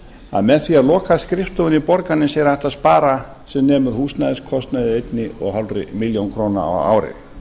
að með því að loka skrifstofunni í borgarnesi er hægt að spara sem nemur húsnæðiskostnaði eins og hálfa milljón króna á ári